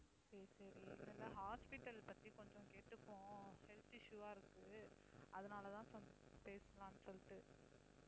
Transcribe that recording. சரி, சரி இந்த hospital பத்தி கொஞ்சம் கேட்டுப்போம், health issue ஆ இருக்கு. அதனால தான் கொஞ்சம் பேசலாம்னு சொல்லிட்டு.